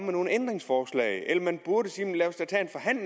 nogle ændringsforslag eller man burde sige det